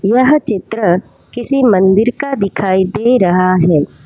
यह चित्र किसी मंदिर का दिखाई दे रहा है।